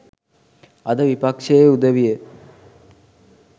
අද විපක්ෂයේ උදවිය